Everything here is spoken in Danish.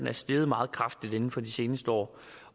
er steget meget kraftigt inden for de seneste år